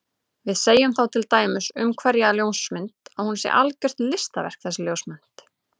Við segjum þá til dæmis um einhverja ljósmynd að hún sé algjört listaverk þessi ljósmynd.